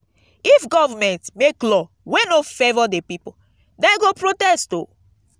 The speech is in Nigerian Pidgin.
if government make law wey no favour de pipo dem go protest oo